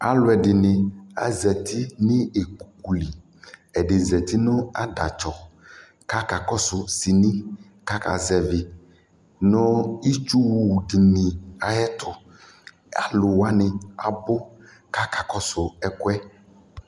Alʋ ɛdɩnɩ azati nʋ ikpoku li Ɛdɩ zati nʋ adatsɔ kʋ akakɔsʋ sini kʋ akazɛvɩ nʋ itsuwʋ dɩnɩ ayɛtʋ Alʋ wanɩ abʋ kʋ akakɔsʋ ɛkʋ yɛ